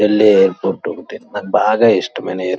Yellow airport ఉంది .నాకు బాగా ఇష్టం అయిన ఎయిర్పోర్ట్ .